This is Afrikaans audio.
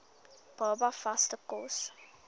baba vaste kos